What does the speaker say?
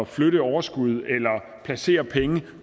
flytte overskud eller placere penge